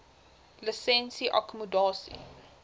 lisensie akkommodasie